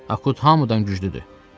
Akut hamıdan güclüdür.